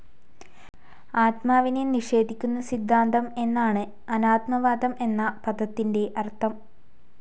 ആത്മാവിനെ നിഷേധിക്കുന്ന സിദ്ധാന്തം എന്നാണ് അനാത്മവാദം എന്ന പദത്തിന്റെ അർഥം.